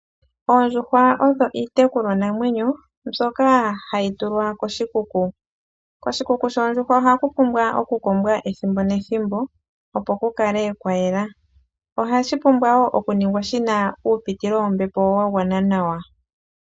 Oondjuhwa odho iitekulwanamwenyo mbyoka hayi tulwa koshikuku. Koshikuku shoondjuhwa ohaku pumbwa okukombwa ethimbo nethimbo opo kukale kwayela. Ohashi pumbwa wo okuningwa shina uupitilo wombepo wagwana nawa.